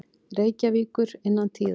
Reykjavíkur innan tíðar.